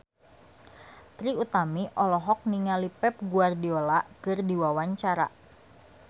Trie Utami olohok ningali Pep Guardiola keur diwawancara